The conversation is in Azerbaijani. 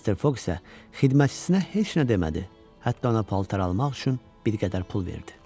Mister Foq isə xidmətçisinə heç nə demədi, hətta ona paltar almaq üçün bir qədər pul verdi.